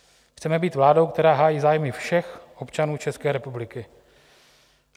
Chceme být vládou, která hájí zájmy všech občanů České republiky."